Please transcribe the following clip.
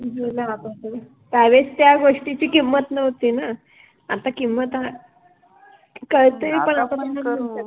गेल आता ते, त्यावेळेस त्या गोष्टीचि किम्मत नव्हती न, आता किम्मत आ, कळतय पण आता पण करु